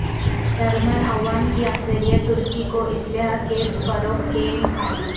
German عوام کی اکثریت ترکی کو اسلحے کی فروخت کے مخالف